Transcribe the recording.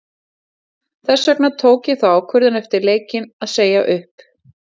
Þess vegna tók ég þá ákvörðun eftir leikinn að segja upp.